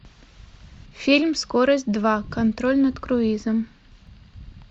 фильм скорость два контроль над круизом